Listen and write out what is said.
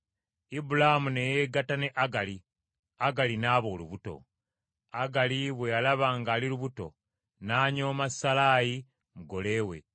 Ibulaamu ne yeegatta ne Agali, Agali n’aba olubuto. Agali bwe yalaba ng’ali lubuto, n’anyooma Salaayi, mugole we.